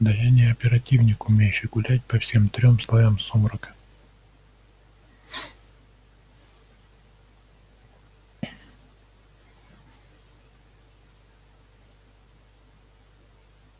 да я не оперативник умеющий гулять по всем трём слоям сумрака